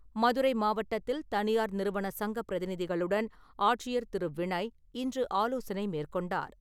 மதுரை மாவட்டத்தில் தனியார் நிறுவன சங்க பிரதிநிதிகளுடன் ஆட்சியர் திரு வினய் இன்று ஆலோசனை மேற்கொண்டார்.